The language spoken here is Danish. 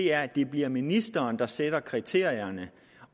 er at det bliver ministeren der sætter kriterierne